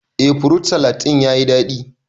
Eh furut salad ɗin yayi daɗi